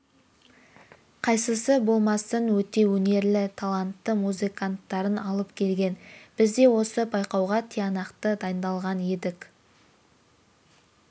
қайсысы болмасын өте өнерлі талантты музыканттарын алып келген біз де осы байқауға тиянақты дайындалған едік